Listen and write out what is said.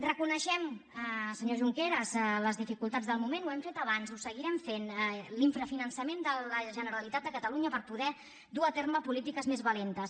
reconeixem senyor junqueras les dificultats del moment ho hem fet abans ho seguirem fent l’infrafinançament de la generalitat de catalunya per poder dur a terme polítiques més valentes